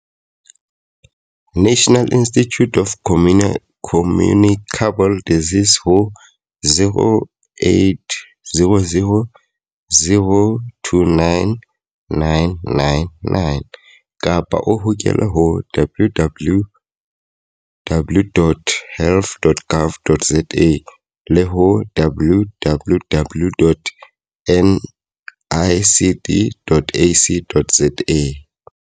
National Institute of Communicable Disease ho 0800 029 999 kapa o hokele ho www.health dot gov dot za le ho www dot nicd dot ac dot za.